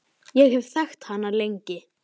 Ég hafði þekkt hana lengi.